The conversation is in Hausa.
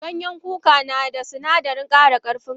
Ganyen kuka nada sunadarin kara karfin kashi.